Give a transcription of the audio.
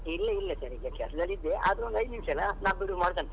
ಇಲ್ಲ ಇಲ್ಲ sir ಈಗ ಕೆಲಸದಲ್ಲಿ ಇದ್ದೆ ಆದರೂ ಒಂದು ಐದು ನಿಮಿಷ ಅಲಾ ನಾ ಬಿಡು ಮಾಡ್ಕಂತೇನೆ.